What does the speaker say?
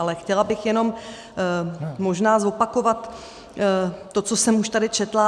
Ale chtěla bych jenom možná zopakovat to, co jsem už tady četla.